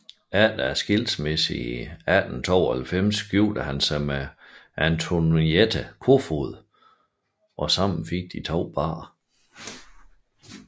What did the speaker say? Efter skilsmissen i 1892 giftede han sig med Antoinette Kofoed og sammen fik de to børn